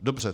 Dobře.